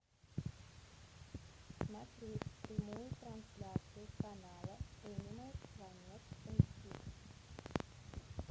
смотреть прямую трансляцию канала энимал планет эйч ди